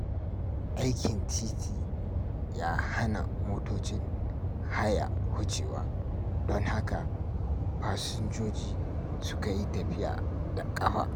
Aikin titi ya hana motocin haya wucewa, don haka fasinjoji suka yi tafiya da ƙafa.